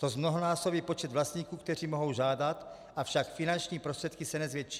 To zmnohonásobí počet vlastníků, kteří mohou žádat, avšak finanční prostředky se nezvětší.